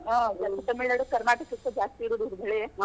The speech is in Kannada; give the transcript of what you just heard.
ತಮಿಳ್ನಾಡು ಕರ್ನಾಟಕಕ್ಕ ಜಾಸ್ತಿ ಇರೂದ್ ಮಳೆ.